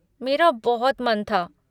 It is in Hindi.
मेरा बहुत मन था।